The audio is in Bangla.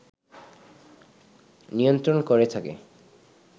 নিয়ন্ত্রণ করে থাকে